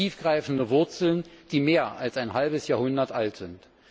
Sie haben tiefgreifende Wurzeln, die mehr als ein halbes Jahrhundert alt sind.